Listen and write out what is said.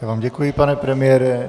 Já vám děkuji, pane premiére.